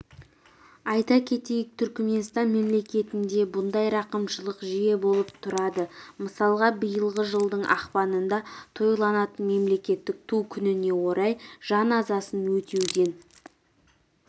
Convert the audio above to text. айта кетейік түрікменстан мемлекетінде бұндай рақымшылықтар жиі болып тұрады мысалға биылғы жылдың ақпанында тойланатын мемлекеттік ту күніне орай жан жазасын өтеуден